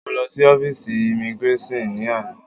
Mọ lọ sí ọ́físì imigráṣọ̀n ni àná.